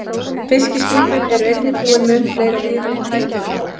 Fiskiskipin eru einnig búin mun fleiri og dýrari tækjum en áður.